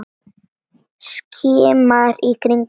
Skimar í kringum sig.